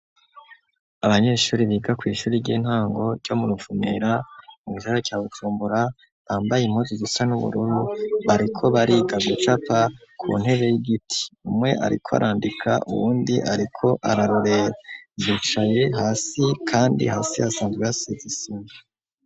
Abanyeshuri biga ku ishuri ry'intango ryo mu ruvumera mu ijara cya gutumbura bambaye impuzi zisa n'ubururu bariko bariga gucapa ku ntebe y'igiti umwe ariko arandika uwundi ariko ararurebucaye hasi kandi hasi hasize isima.